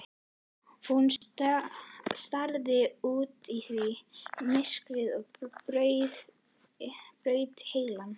Hún starði út í þykkt myrkrið og braut heilann.